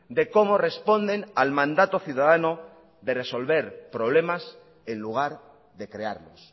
de cómo responden al mandato ciudadano de resolver problemas en lugar de crearlos